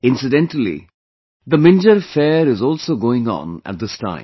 Incidentally, the Minjar fair is also going on at this time